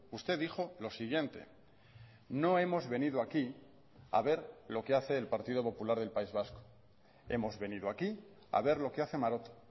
usted dijo lo siguiente no hemos venido aquí a ver lo que hace el partido popular del país vasco hemos venido aquí a ver lo que hace maroto